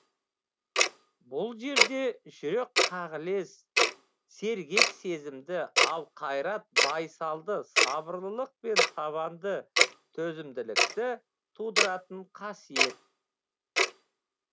бұл жерде жүрек қағілез сергек сезімді ал қайрат байсалды сабырлылық пен табанды төзімділікті тудыратын қасиет